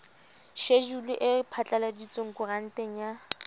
shejulu e phatlaladitsweng koranteng ya